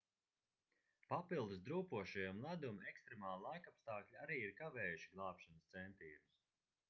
papildus drūpošajam ledum ekstremāli laikapstākļi arī ir kavējuši glābšanas centienus